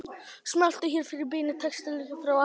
Smelltu hér fyrir beina textalýsingu frá Akranesi